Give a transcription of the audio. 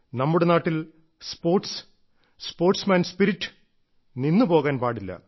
നമ്മുടെ നാട്ടിൽ sports sportsman spirit നിന്നു പോകാൻ പാടില്ല